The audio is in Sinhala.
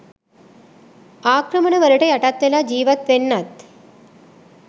ආක්‍රමණවලට යටත් වෙලා ජීවත් වෙන්නත්